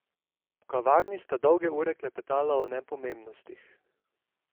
V kavarni sta dolge ure klepetala o nepomembnostih.